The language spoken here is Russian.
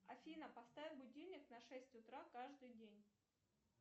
афина поставь будильник на шесть утра каждый день